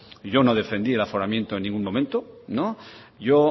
yo no defendí el aforamiento en ningún momento no yo